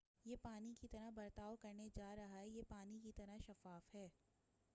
یہ پانی کی طرح برتاؤ کرنے جارہا ہے یہ پانی کی طرح شفاف ہے